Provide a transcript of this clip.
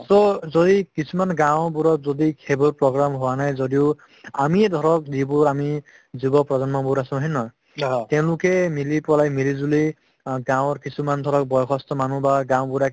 so যদি কিছুমান গাওঁবোৰত যদি সেইবোৰ program হোৱা নাই যদিও আমিয়ে ধৰক যিবোৰ আমি যুব প্ৰজন্ম বহুত আছো হয়নে নহয় তেওঁলোকে মিলি পেলাই মিলিজুলি আ গাঁৱৰ কিছুমান ধৰক বয়সস্থ মানুহ বা গাঁওবুঢ়া